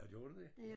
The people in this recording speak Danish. Nåh gjorde du det